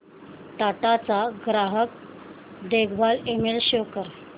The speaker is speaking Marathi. टाटा चा ग्राहक देखभाल ईमेल शो कर